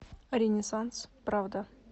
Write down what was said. ренессанс правда